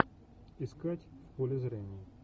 искать в поле зрения